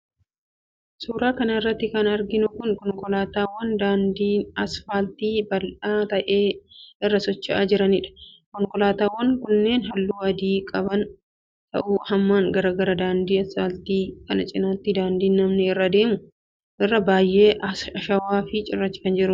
Suura kana irratti kan arginu kun, konkolaataawwan daandii asfaaltii bal'aa ta'e irra socho'aa jiraniidha. Konkolaataawwan kunneen, haalluu adii kan qaban yoo ta'u, hammaan garaa gara. Daandii asfaaltii kana cinaatti, daandiin namni irra deemu biyyee ashawaa fi cirracha dhagaa irraa hojjatame ni jira.